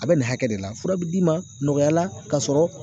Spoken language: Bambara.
A bɛ nin hakɛ de la fura bɛ d'i ma nɔgɔya la ka sɔrɔ